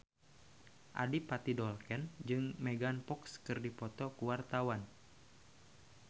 Adipati Dolken jeung Megan Fox keur dipoto ku wartawan